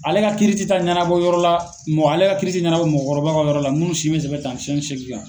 Ale ka kiiri ti taa ɲanabɔ yɔrɔ la mɔgɔ ale ka kiiri tɛ ɲanabɔ mɔgɔkɔrɔba ka yɔrɔ la minnu si bɛ tɛmɛn san tan ni seegin kan.